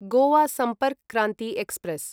Goa Sampark Kranti express